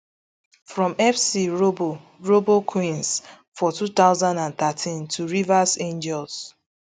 from fc robo robo queens for two thousand and thirteen to rivers angels